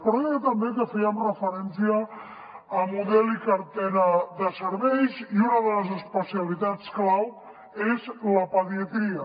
però deia també que fèiem referència al model i la cartera de serveis i una de les especialitats clau és la pediatria